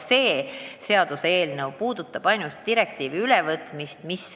See seaduseelnõu puudutab ainult direktiivi artiklite ülevõtmist.